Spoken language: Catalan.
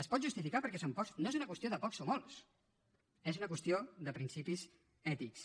es pot justificar perquè en són pocs no és una qüestió de pocs o molts és una qüestió de principis ètics